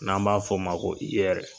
N'an b'a f'ɔ ma ko IYER.